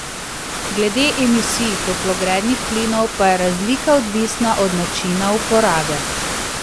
Glede emisij toplogrednih plinov pa je razlika odvisna od načina uporabe.